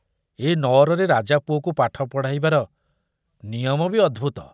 ଏ ନଅରରେ ରାଜାପୁଅକୁ ପାଠ ପଢ଼ାଇବାର ନିୟମ ବି ଅଦ୍ଭୁତ।